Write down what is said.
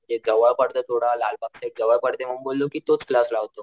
जे जवळ पडत थोडं लालबाग साइड जवळ पडते मग बोललो कि तोच क्लास लावतो.